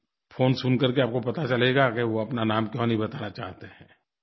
phone सुन कर के आपको पता चलेगा कि वो अपना नाम क्यों नहीं बताना चाहते हैं